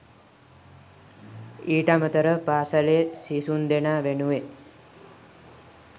ඊට අමතරව පාසලේ සිසුන්දෙනා වෙනුවෙන්